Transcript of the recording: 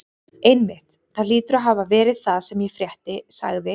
Einmitt, það hlýtur að hafa verið það sem ég frétti sagði